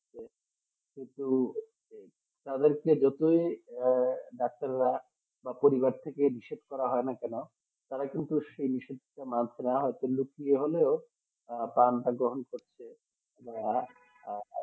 কিন্তু তাদেরকে দেখে ডাক্তাররা আবার পরিবার থেকে নিষেধ করা হয় না কেন তারা কিন্তু সে নিষেধ মানছে না তারা পান গ্রহণ করছে আহ